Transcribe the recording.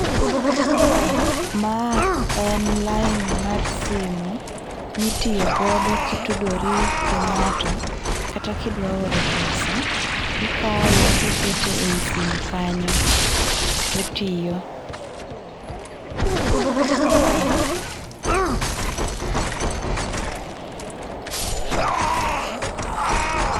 Ma en line mar simu mitiyo godo ki tudori gi ng'ato kata kidwa oro pesa ikawe ti kete eyi simu kanyo to tiyo